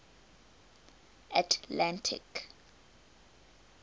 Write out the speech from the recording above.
atlantic